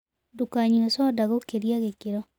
Ndũkanyũe soda gũkĩrĩa gĩkĩro